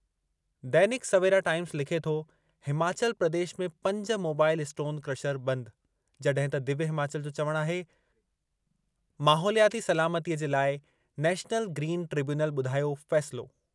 दैनिक Savera Times लिखे थो- हिमाचल प्रदेश में पंज मोबाइल स्टोन क्रशर बंदि। जॾहिं त दिव्य हिमाचल जो चवणु आहे- माहौलियाती सलामतीअ जे लाइ नेशनल ग्रीन ट्रिब्यूनल ॿुधायो फ़ैसिलो।